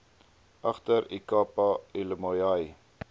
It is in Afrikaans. agter ikapa elihlumayoi